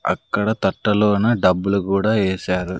అక్కడ తట్ట లోన డబ్బులు కూడా ఏశారు.